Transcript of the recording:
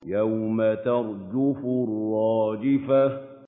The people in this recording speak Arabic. يَوْمَ تَرْجُفُ الرَّاجِفَةُ